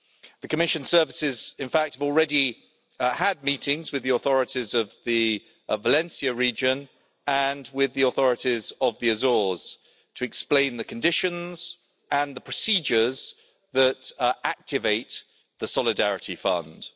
The Commission services, in fact, have already had meetings with the authorities of the Valencia region and with the authorities of the Azores to explain the conditions and the procedures that activate the Solidarity Fund.